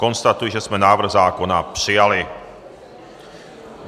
Konstatuji, že jsme návrh zákona přijali.